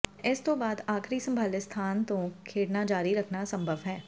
ਇਸ ਤੋਂ ਬਾਅਦ ਆਖਰੀ ਸੰਭਾਲੇ ਸਥਾਨ ਤੋਂ ਖੇਡਣਾ ਜਾਰੀ ਰੱਖਣਾ ਅਸੰਭਵ ਹੈ